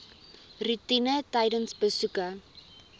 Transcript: roetine tydens besoeke